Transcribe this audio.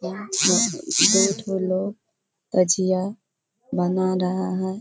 यहाँ पर दो ठो लोग तजिआ बना रहा है।